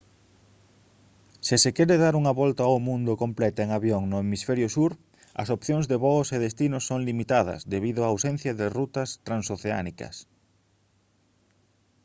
se se quere dar unha volta ao mundo completa en avión no hemisferio sur as opcións de voos e destinos son limitadas debido a ausencia de rutas transoceánicas